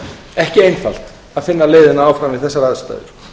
ekki einfalt að finna leiðina áfram við þær aðstæður